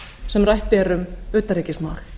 sem rætt er um utanríkismál